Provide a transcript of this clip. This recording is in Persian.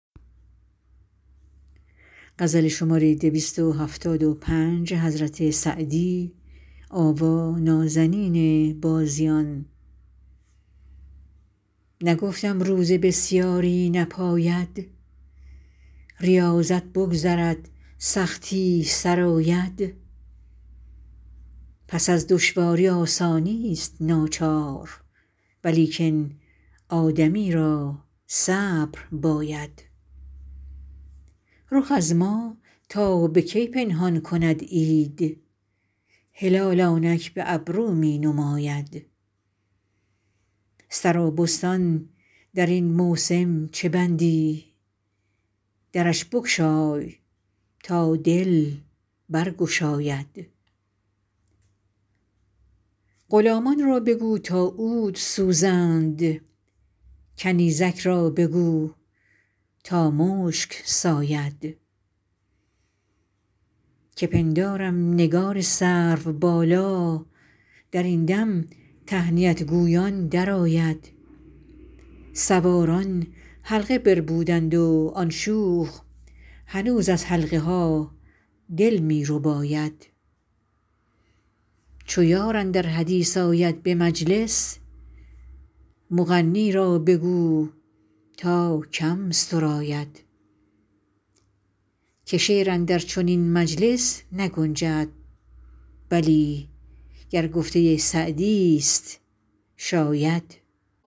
نگفتم روزه بسیاری نپاید ریاضت بگذرد سختی سر آید پس از دشواری آسانیست ناچار ولیکن آدمی را صبر باید رخ از ما تا به کی پنهان کند عید هلال آنک به ابرو می نماید سرابستان در این موسم چه بندی درش بگشای تا دل برگشاید غلامان را بگو تا عود سوزند کنیزک را بگو تا مشک ساید که پندارم نگار سروبالا در این دم تهنیت گویان درآید سواران حلقه بربودند و آن شوخ هنوز از حلقه ها دل می رباید چو یار اندر حدیث آید به مجلس مغنی را بگو تا کم سراید که شعر اندر چنین مجلس نگنجد بلی گر گفته سعدیست شاید